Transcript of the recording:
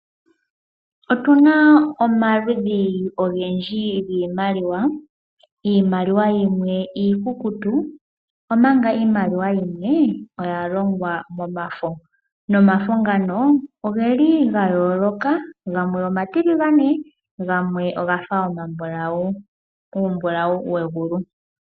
Otuna omaludhi ogendji giimaliwa. Iimaliwa yimwe iikukutu omanga iimaliwa yimwe oya longwa momafo, nomafo ngano oge li ga yooloka, gamwe omatiligane, gamwe ogafa omambulawu, uumbulawu wegulu.